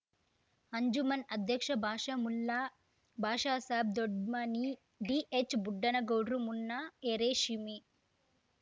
ಅಂಜುಮನ್ ಅಧ್ಯಕ್ಷ ಭಾಷಾ ಮುಲ್ಲಾ ಭಾಷಾಸಾಬ್ ದೊಡ್ಮನಿ ಡಿಎಚ್ಬುಡ್ಡನಗೌಡ್ರ ಮುನ್ನಾ ಎರೇಶೀಮಿ